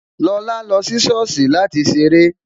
Lọlá lọ sí sọ́ọ̀sì láti ṣeré